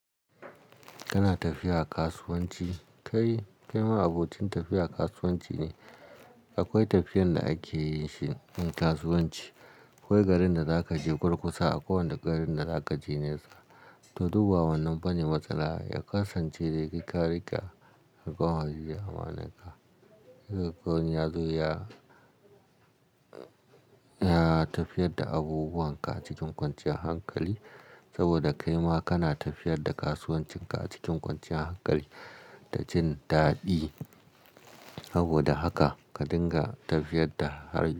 Kana tafiya kasuwanci, kai ma abocin tafiya kasuwanci ne. Akwai tafiyar da ake yin shi kasuwanci. Ko garin da za ka je gurgusa, a kowane garin da za ka je nesa, to dubawa wannan bane matsala. Ya kasance da rikaki a kan haɗiye amananka. Yanzu ya, ya tafiyar da abubuwan ka a cikin kwanciyar hankali saboda kai ma kana tafiyar da kasuwancin ka a cikin kwanciyar hankali da jin daɗi. Saboda haka ka dinga tafiyar da.